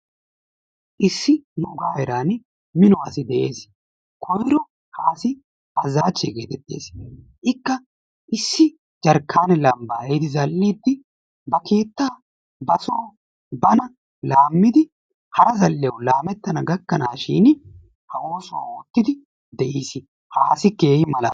Issi nuuga heeran mino asikka dees, koyro ha asi Azaache gettettees. Ikka issi jarkkaanee lambbaa ehiidi zal'idi ba keettaa ba soo bana laamidi hara zal'iyawu laamettana gakkanaashin ha oosuwa ootidi de'iis ha asi keehi malaales.